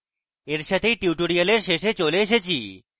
এই সাথেই আমরা tutorial শেষে চলে এসেছি